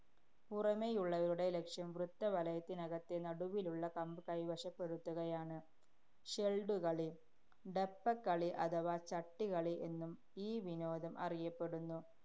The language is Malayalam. പുറമെയുള്ളവരുടെ ലക്ഷ്യം വൃത്തവലയത്തിനകത്തെ നടുവിലുള്ള കമ്പ് കൈവശപ്പെടുത്തുകയാണ്. ഷെല്‍ഡുകളി. ഡപ്പക്കളി അഥവാ ചട്ടി കളി എന്നും ഈ വിനോദം അറിയപ്പെടുന്നു.